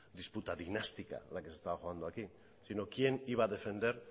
disputa dinástica la que se estaba jugando aquí sino quién iba a defender